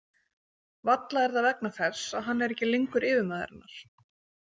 Varla er það vegna þess að hann er ekki lengur yfirmaður hennar.